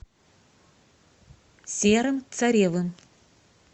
серым царевым